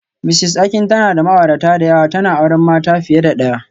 Mrs Akin tana da ma'aurata da yawa, tana auren mata fiye da daya